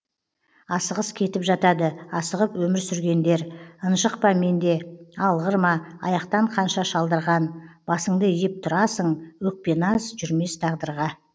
асығыс кетіп жатады асығып өмір сүргендер ынжық па менде алғыр ма аяқтан қанша шалдырған басыңды иіп тұрасың өкпе наз жүрмес тағдырға